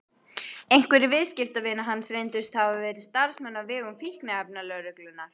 Einhverjir viðskiptavina hans reyndust hafa verið starfsmenn á vegum fíkniefnalögreglunnar.